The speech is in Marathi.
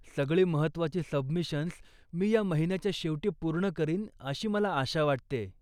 सगळी महत्त्वाची सबमिशन्स मी या महिन्याच्या शेवटी पूर्ण करीन अशी मला आशा वाटतेय.